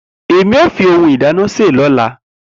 Emi o fi ohun ìdáná se lola.